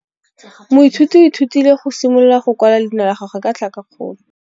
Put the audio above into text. Moithuti o ithutile go simolola go kwala leina la gagwe ka tlhakakgolo.